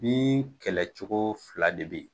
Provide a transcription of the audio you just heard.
Bin kɛlɛ cogo fila de be yen.